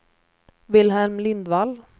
Wilhelm Lindvall